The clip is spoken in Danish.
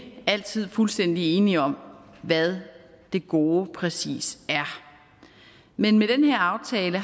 altid fuldstændig enige om hvad det gode præcis er men med den her aftale